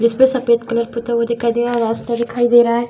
जिसपे सफ़ेद कलर पोता हुआ दिखाई दे रहा है रास्ता दिखाई दे रहा है।